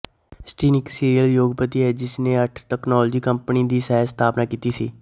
ਐਸਟ੍ਰੀਨ ਇੱਕ ਸੀਰੀਅਲ ਉਦਯੋਗਪਤੀ ਹੈ ਜਿਸ ਨੇ ਅੱਠ ਤਕਨਾਲੋਜੀ ਕੰਪਨੀਆਂ ਦੀ ਸਹਿ ਸਥਾਪਨਾ ਕੀਤੀ ਸੀ